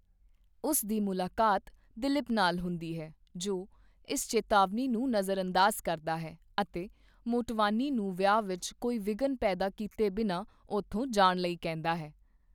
ਉਸ ਦੀ ਮੁਲਾਕਾਤ ਦਿਲੀਪ ਨਾਲ ਹੁੰਦੀ ਹੈ, ਜੋ ਇਸ ਚੇਤਾਵਨੀ ਨੂੰ ਨਜ਼ਰਅੰਦਾਜ਼ ਕਰਦਾ ਹੈ ਅਤੇ ਮੋਟਵਾਨੀ ਨੂੰ ਵਿਆਹ ਵਿੱਚ ਕੋਈ ਵਿਘਨ ਪੈਦਾ ਕੀਤੇ ਬਿਨਾਂ, ਓਥੋਂ ਜਾਣ ਲਈ ਕਹਿੰਦਾ ਹੈ।